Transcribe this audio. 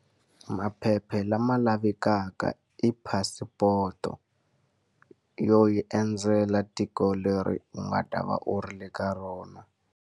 Maphepha lama lavekaka i passport-o, yo yi endzela tiko leri u nga ta va u ri le ka rona.